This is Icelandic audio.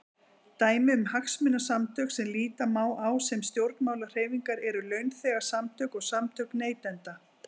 Dæmi um hagsmunasamtök sem líta má á sem stjórnmálahreyfingar eru launþegasamtök og samtök neytenda.